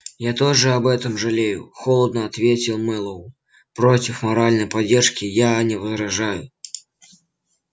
я тоже об этом жалею холодно ответил мэллоу против моральной поддержки я не возражаю